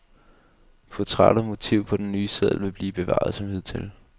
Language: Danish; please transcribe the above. Portræt og motiv på den nye seddel vil blive bevaret som hidtil.